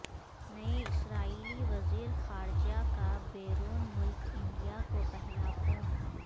نئے اسرائیلی وزیر خارجہ کا بیرون ملک انڈیا کو پہلا فون